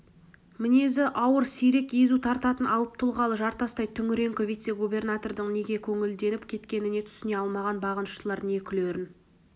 мінезі ауыр сирек езу тартатын алып тұлғалы жартастай түнеріңкі вице-губернатордың неге көңілденіп кеткеніне түсіне алмаған бағыныштылар не күлерін